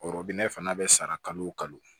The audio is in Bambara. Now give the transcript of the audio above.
Ɔrɔbu nɛ fana bɛ sara kalo o kalo